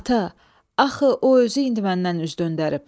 Ata, axı o özü indi məndən üz döndərib.